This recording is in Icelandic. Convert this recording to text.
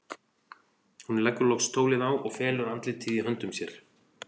Hún leggur loks tólið á og felur andlitið í höndum sér.